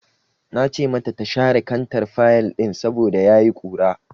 Na ce mata ta share kantar fayil ɗin saboda ya yi ƙura.